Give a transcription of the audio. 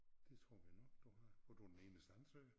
Det tror vi nok du har for du er den eneste ansøger